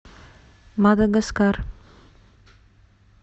мадагаскар